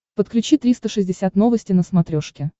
подключи триста шестьдесят новости на смотрешке